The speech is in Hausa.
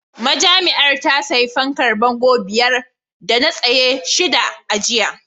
Majami'ar ta sayi fankar bango biyar a tsaye da shida a jiya